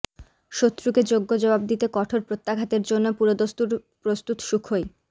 শত্রুকে যোগ্য জবাব দিতে কঠোর প্রত্যাঘাতের জন্য পুরোদস্তুর প্রস্তুত সুখোই